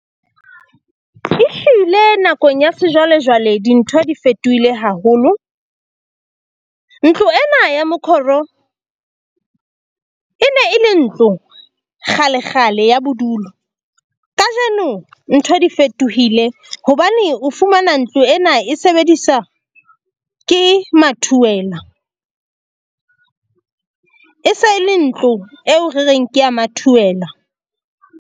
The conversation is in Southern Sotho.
E hlile nakong ya sejwalejwale, dintho di fetohile haholo. Ntlo ena ya mokgoro e ne e le ntlo kgalekgale ya bodulo. Kajeno ntho di fetohile hobane o fumana ntlo ena e sebedisa ke mathuwela, e se e le ntlo eo re reng ke ya mathuwela.